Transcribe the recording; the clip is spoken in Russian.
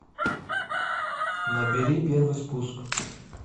набери первый спуск